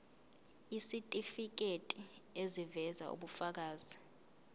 isitifiketi eziveza ubufakazi